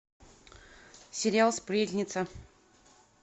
сериал сплетница